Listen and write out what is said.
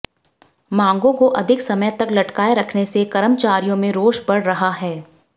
मांगों को अधिक समय तक लटकाये रखने से कर्मचारियों में रोष बढ़ रहा है